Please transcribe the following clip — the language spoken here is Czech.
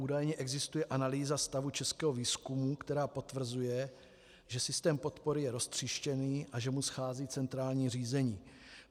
Údajně existuje analýza stavu českého výzkumu, která potvrzuje, že systém podpory je roztříštěný a že mu schází centrální řízení.